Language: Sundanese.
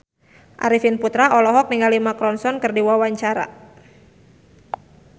Arifin Putra olohok ningali Mark Ronson keur diwawancara